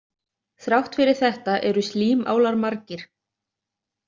Þrátt fyrir þetta eru slímálar margir.